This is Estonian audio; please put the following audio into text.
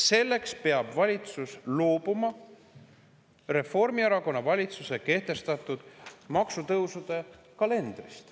Selleks peab valitsus loobuma Reformierakonna valitsuse kehtestatud maksutõusude kalendrist.